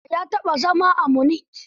Osa ya taɓa zama a Munich.